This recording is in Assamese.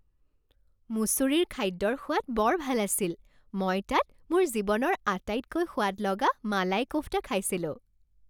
মুছুৰীৰ খাদ্যৰ সোৱাদ বৰ ভাল আছিল। মই তাত মোৰ জীৱনৰ আটাইতকৈ সোৱাদ লগা মালাই কোফটা খাইছিলোঁ।